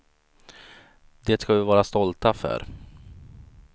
Det ska vi vara stolta för.